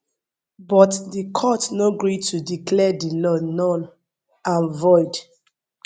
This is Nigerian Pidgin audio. but di court no gree to declare di law null and void